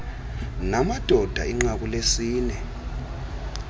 namadoda inqaku lesini